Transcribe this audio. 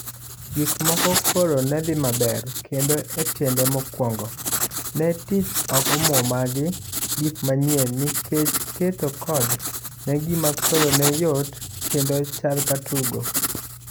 Gik moko koro ne dhi maber, kendo etiende mokwongo, ne tich ok omwomagi gik manyiennikech keto code en gima koro ne yot kendo chal katugo.